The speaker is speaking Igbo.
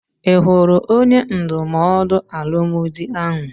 I hụrụ onye ndụmọdụ alụmdi ahụ?